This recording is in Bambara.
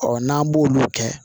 n'an b'olu kɛ